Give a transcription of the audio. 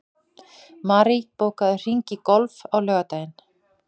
Marie, bókaðu hring í golf á laugardaginn.